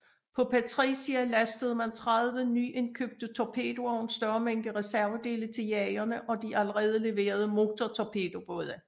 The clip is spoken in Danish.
På Patricia lastede man 30 nyindkøbte torpedoer og en større mængde reservedele til jagerne og de allerede leverede motortorpedobåde